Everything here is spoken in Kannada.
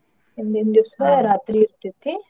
ಹಿಂದಿನ್ ದಿವಸ ರಾತ್ರಿ ಇರ್ತ್ತೇತ್ರೀ.